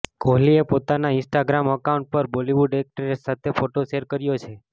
કોહલીએ પોતાના Instagram account પર બોલીવુડ એક્ટ્રેસ સાથે ફોટો શેર કર્યો છે